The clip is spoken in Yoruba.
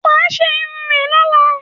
Wà á ṣe irun ẹ lọ́la!